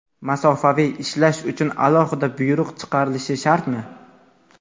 Masofaviy ishlash uchun alohida buyruq chiqarilishi shartmi?.